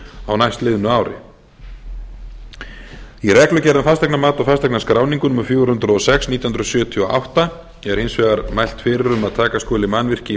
á næstliðnu ári í reglugerð um fasteignamat og fasteignaskráningu númer fjögur hundruð og sex nítján hundruð sjötíu og átta er hins vegar mælt fyrir um að taka skuli mannvirki í